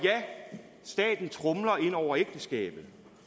staten tromler ind over ægteskabet